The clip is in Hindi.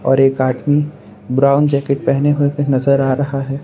और एक आदमी ब्राउन जैकेट पहने हुए नजर आ रहा है।